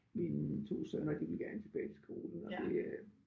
Mine 2 sønner de ville gerne tilbage til skolen og det øh